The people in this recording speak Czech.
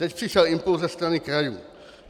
Teď přišel impuls ze strany krajů.